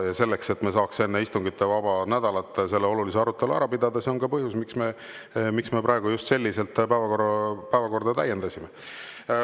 Ja see, et me saaks enne istungivaba nädalat selle olulise arutelu ära pidada, on ka põhjus, miks me praegu just selliselt päevakorda täiendasime.